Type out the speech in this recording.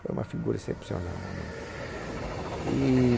Foi uma figura excepcional, mamãe.